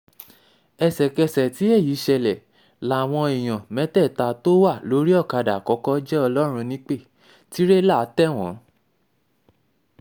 ẹsẹ̀kẹsẹ̀ tí èyí um ṣẹlẹ̀ làwọn èèyàn mẹ́tẹ̀ẹ̀ta tó wà wà lórí ọ̀kadà àkọ́kọ́ jẹ́ ọlọ́run nípẹ́ um tírẹlà tẹ̀ wọ́n